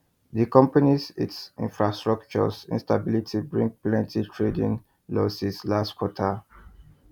di companys it infrastructure instability bring plenty trading losses last quarter